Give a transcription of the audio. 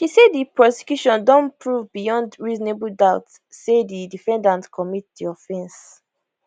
she say di prosecution don prove beyond reasonable doubt say di defendant commit di offense